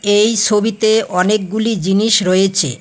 এই ছবিতে অনেকগুলি জিনিস রয়েছে।